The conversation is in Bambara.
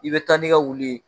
I bɛ taa n'i ka wulu ye